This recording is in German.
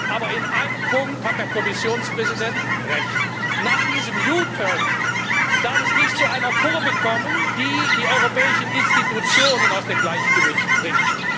Aber in einem Punkt hat der Kommissionspräsident Recht Nach diesem U turn darf es nicht zu einer Kurve kommen, die die europäischen Institutionen aus dem Gleichgewicht bringt.